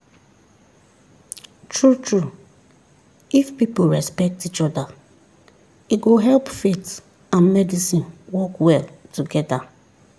true-true if people respect each other e go help faith and medicine work well together.